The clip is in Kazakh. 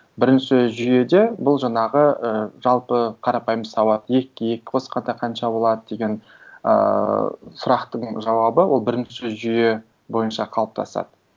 бірінші жүйеде бұл жаңағы ыыы жалпы қарапайым сауат екіге екі қосқанда қанша болады деген ыыы сұрақтың жауабы ол бірінші жүйе бойынша қалыптасады